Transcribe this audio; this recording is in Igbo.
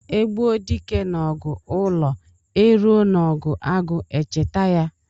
E gbuo dike n'ọgụ ụlọ, e ruo n'ọgụ agụ echeta ya.